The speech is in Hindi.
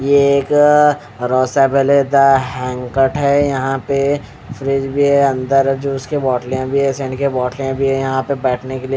ये एक यहाँ पे फ्रीज भी है अंदर जूस की बोटल भी है यहाँ पे बैठने के लिए--